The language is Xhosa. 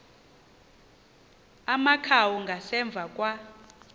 amakhawu ngasemva kwa